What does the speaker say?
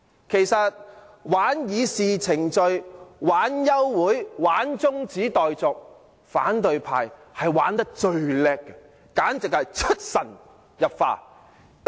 其實，玩弄議事程序、玩弄休會、中止待續等手段，反對派非常出色，簡直是出神入化。